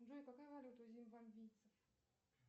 джой какая валюта у зимбабвийцев